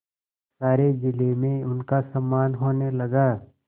सारे जिले में उनका सम्मान होने लगा